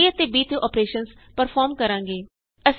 ਅਸੀਂ a ਅਤੇ b ਤੇ ਅੋਪਰੇਸ਼ਨਸ ਪਰਫੋਰਮ ਕਰਾਂਗੇ